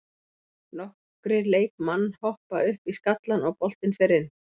Nokkrir leikmann hoppa upp í skallann og boltinn fer inn.